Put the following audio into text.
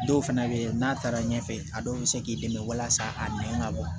Dɔw fana bɛ yen n'a taara ɲɛfɛ a dɔw bɛ se k'i dɛmɛ walasa a nɛn ka bɔ